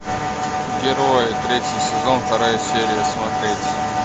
герои третий сезон вторая серия смотреть